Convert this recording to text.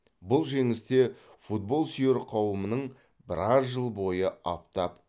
бұл жеңіс те футбол сүйер қауымның біраз жыл бойы аптап